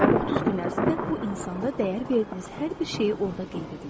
və 30 gün ərzində bu insanda dəyər verdiyiniz hər bir şeyi orda qeyd edin.